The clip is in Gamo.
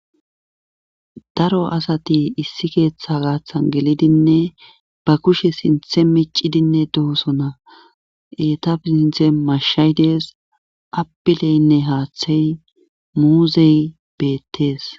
daro asati issi keeththa gaaththan gelidinne ba kushe sinthe meccidinne dohosona etaf sinthe mashshay dees apileynne haaththey muuzey beettees.